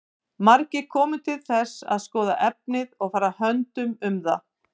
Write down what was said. Margir komu til þess að skoða efnið og fara höndum um það.